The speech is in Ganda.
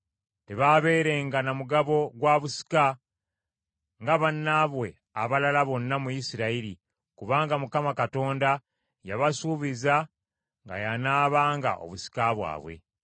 Tebaabeerenga na mugabo gwa busika nga bannaabwe abalala bonna mu Isirayiri, kubanga Mukama Katonda yabasuubiza nga y’anaabanga obusika bwabwe.